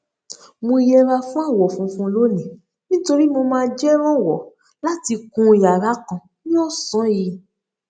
mo yẹra fún àwọ funfun lónìí nítorí pé mo máa jẹ rànwọ láti kun yàrá kan ní ọsán yìí